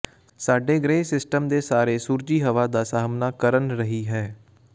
ਸਾਡੇ ਗ੍ਰਹਿ ਸਿਸਟਮ ਦੇ ਸਾਰੇ ਸੂਰਜੀ ਹਵਾ ਦਾ ਸਾਹਮਣਾ ਕਰਨ ਰਹੀ ਹੈ